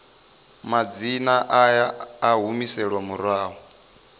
madzina a a humiselwa murahu